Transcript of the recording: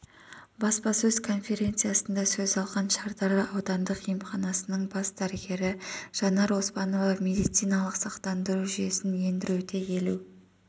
баспасөз конференциясында сөз алған шардара аудандық емханасының бас дәрігері жанар оспанова медициналық сақтандыру жүйесін ендіруде елу